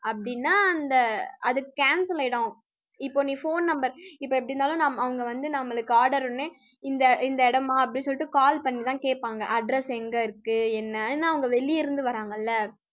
அப்படின்னா அந்த அது cancel ஆயிடும் இப்போ நீ phone number இப்போ எப்படி இருந்தாலும் அவங்க வந்து நம்மளுக்கு order ஒண்ணு இந்த இந்த இடமா அப்படின்னு சொல்லிட்டு call பண்ணிதான் கேப்பாங்க address எங்க இருக்கு என்னன்னு அவங்க வெளிய இருந்து வர்றாங்கல்ல